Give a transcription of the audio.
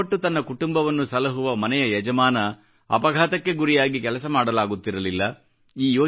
ಶ್ರಮಪಟ್ಟು ತನ್ನ ಕುಟುಂಬವನ್ನು ಸಲಹುವ ಮನೆಯ ಯಜಮಾನ ಅಪಘಾತಕ್ಕೆ ಗುರಿಯಾಗಿ ಕೆಲಸ ಮಾಡಲಾಗುತ್ತಿರಲಿಲ್ಲ